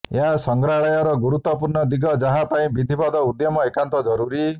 ଏହା ସଂଗ୍ରହାଳୟର ଗୁରୁତ୍ୱପୂର୍ଣ୍ଣ ଦିଗ ଯାହା ପାଇଁ ବିଧିବଦ୍ଧ ଉଦ୍ୟମ ଏକାନ୍ତ ଜରୁରୀ